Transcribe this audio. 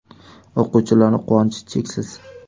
O‘quvchilarning quvonchi cheksiz.